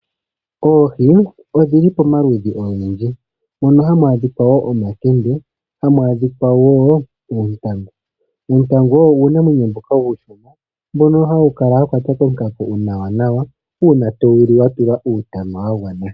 Oohii odhili pomaludhi ogendji mono hamwadhika wo omakende, hamwadhika wo uutangu, uutangu owo unamwenyo mboka ushona mbono hawukala wakwata kokako nawa nawa una towuli watulwa utama wangwana.